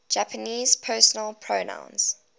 japanese personal pronouns